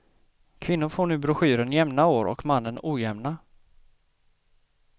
Kvinnor får nu broschyren jämna år och mannen ojämna.